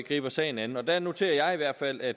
griber sagen an der noterer jeg hvert fald at